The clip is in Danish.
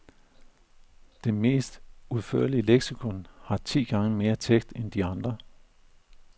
Det mest udførlige leksikon har ti gange mere tekst end de andre.